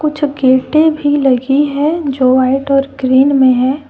कुछ गेटे भी लगी है जो वाइट और ग्रीन में है।